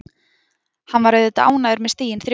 Hann var auðvitað ánægður með stigin þrjú.